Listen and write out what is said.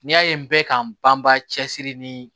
N'i y'a ye n bɛ k'an banbaa cɛsiri ni